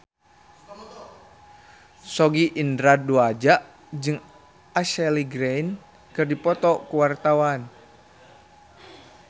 Sogi Indra Duaja jeung Ashley Greene keur dipoto ku wartawan